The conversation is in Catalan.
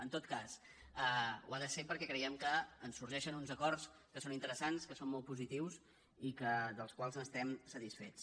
en tot cas ho ha de ser perquè creiem que en sorgeixen uns acords que són interessants que són molt positius i dels quals n’estem satisfets